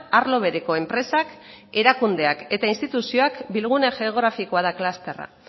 arlo bereko enpresak erakundeak eta instituzioak bilgune geografikoa da klusterra